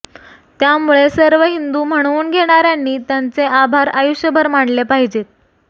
त्यामुळे सर्व हिंदू म्हणवून घेणार्यांनी त्यांचे आभार आयुष्यभर मानले पाहिजे